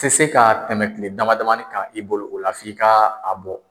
Tɛ se ka tɛmɛ tile dama damani kan i bolo, o la f'i ka a bɔ.